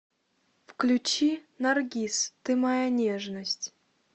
включи наргиз ты моя нежность